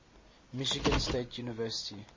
michigan state university